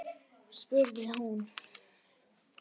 spurði hún.